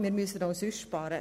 Man muss auch sonst sparen.